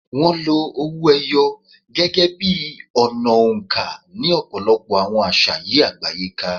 Wọ́n lo owó ẹyọ gẹ́gẹ́ bí ọ̀nà oǹkà ní ọ̀pọ̀lọpọ̀ àwọn àṣà yí àgbáyé ká.